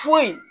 Foyi